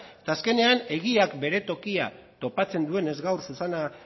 eta azkenean egiak bere tokia topatzen duenez gaur susana